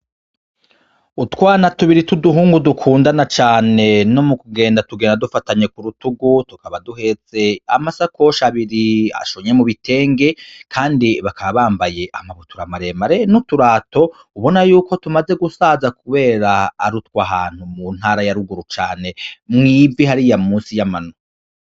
Utwana tubiri tuduhungu dukundana cane no mu kugenda tugenda dufatanye kurutugu tukaba duhetse amasakosha abiri ashonye mu bitenge, kandi bakaba bambaye amakabutura maremare n'uturato ubona yuko tumaze gusaza, kubera arutwa ahantu mu ntara yaruguru cane mwivi hariya musi y'amano.